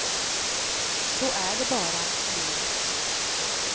Så är det bara, livet.